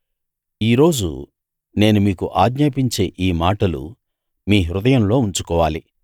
ఈ రోజు నేను మీకు ఆజ్ఞాపించే ఈ మాటలు మీ హృదయంలో ఉంచుకోవాలి